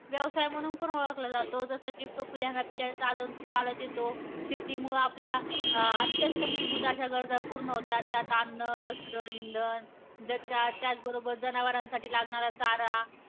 व्यवसाय म्हणून पण ओळखला जातो. जस कि तो पिढ्यानपिढ्या चालत चालत येतो. शेतीमुळे आपल्या अत्यंत मूलभूत अशा गरज पूर्ण होतात. त्यात अन्न, वस्त्र, इंधन, द त्याचबरोबर जनावरांसाठी लागणारा चारा.